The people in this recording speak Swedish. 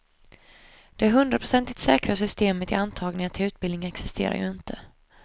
Det hundraprocentigt säkra systemet i antagningar till utbildningen existerar ju inte.